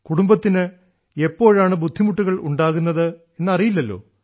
കുടുംബത്തിന് എപ്പോഴാണ് ബുദ്ധിമുട്ടുകൾ ഉണ്ടാകുന്നത് എന്ന് അറിയില്ലല്ലോ